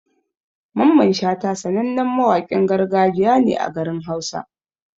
Mamman Shata sanannen mawaƙin gargajiya ne a garin hausa.